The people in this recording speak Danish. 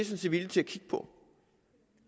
set villige til at kigge på